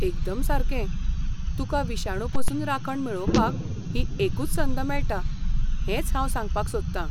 एकदम सारकें, तुका विशाणू पसून राखण मेळोवपाक ही एकूच संद मेळटा हेंच हांव सांगपाक सोदता.